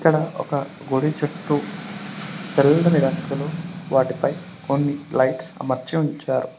ఇక్కడ ఒక గుడి చుట్టూ తెల్లని రంగులో వాటిపై కొన్ని లైట్స్ అమర్చి ఉంచారు.